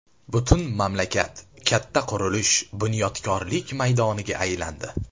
Butun mamlakat katta qurilish, bunyodkorlik maydoniga aylandi.